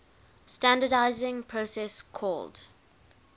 standardizing process called